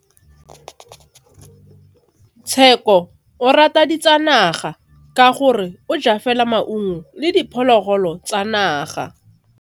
Tshekô o rata ditsanaga ka gore o ja fela maungo le diphologolo tsa naga.